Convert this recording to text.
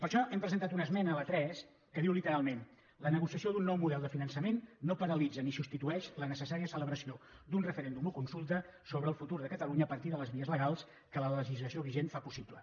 per això hem presentat una esmena la tres que diu literalment la negociació d’un nou model de finançament no paralitza ni substitueix la necessària celebració d’un referèndum o consulta sobre el futur de catalunya a partir de les vies legals que la legislació vigent fa possible